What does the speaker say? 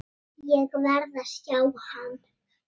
Ég verð að sjá hann.